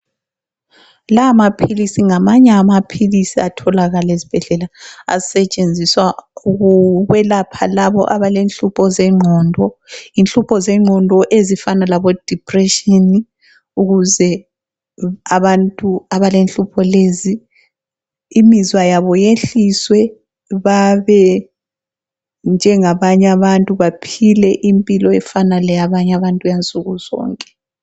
La maphilisi ngamanye amaphilisi atholakala esibhedlela asetshenziswa ukwelapha laba abalenhlupho zengqondo, inhlupho zengqondo ezifana labo dipression ukuze abantu abalenhlupho lezi imizwa yabo yehliswe babe njengabanye abantu baphile impilo efana leyabanye abantu eya nsukuzonke.